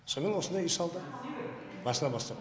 сомен осындай үй салды басынан бастап